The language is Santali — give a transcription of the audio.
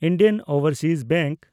ᱤᱱᱰᱤᱭᱟᱱ ᱳᱵᱷᱮᱱᱰᱥᱤᱡᱽ ᱵᱮᱝᱠ